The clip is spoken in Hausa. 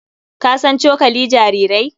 Ka san cokali jarirai?